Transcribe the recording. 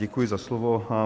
Děkuji za slovo.